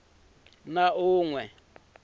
na un we loyi a